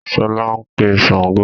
Sọlá ń pè Sángo